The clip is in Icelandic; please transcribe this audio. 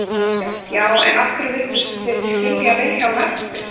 Kristján: Já, en af hverju vildu þið skilja Vilhjálm eftir?